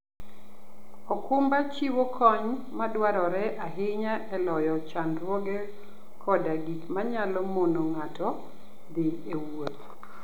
okumba chiwo kony madwarore ahinya e loyo chandruoge koda gik manyalo mono ng'ato dhi e wuoth.